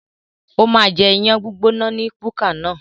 Ó máa jẹ iyán gbígbóná ní búkà náà.